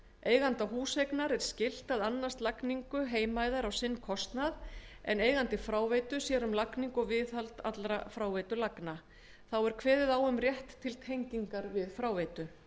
eiganda húseignar er skylt að annast lagningu heimæða á sinn kostnað en eigandi fráveitu sér um lagningu og viðhald allra fráveitulagna þá er kveðið á um rétt til tengingar við fráveitu